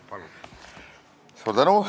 Palun!